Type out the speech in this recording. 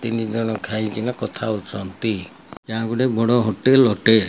ତିନି ଜଣ ଖାଇକିନା କଥା ହଉଚନ୍ତି । ଏହା ଗୋଟେ ବଡ଼ ହୋଟେଲ୍ ଅଟେ।